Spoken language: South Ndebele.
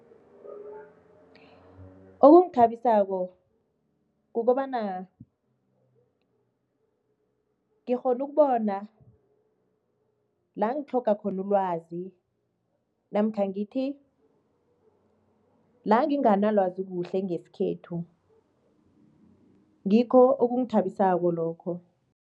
Okungithabisako kukobana ngikghona ukubona la engitlhoga khona ulwazi namkha ngithi la nginganalwazi kuhle ngesikhethu, ngikho okungithabisako lokho.